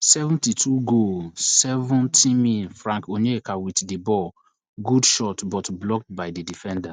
seventy-two goal seventy min frank onyeka wit di ball good shot but blocked by di defender